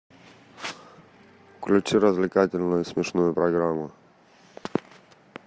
включи развлекательную смешную программу